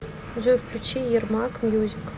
джой включи ярмак мьюзик